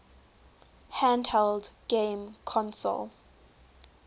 handheld game console